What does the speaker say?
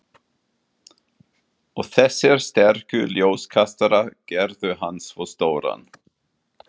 Stundum um málfundi en oftast fór hann með áskoranir.